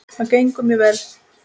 Það gengur mjög vel.